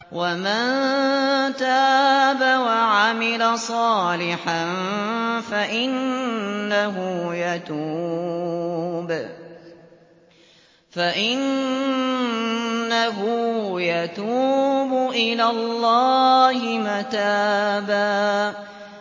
وَمَن تَابَ وَعَمِلَ صَالِحًا فَإِنَّهُ يَتُوبُ إِلَى اللَّهِ مَتَابًا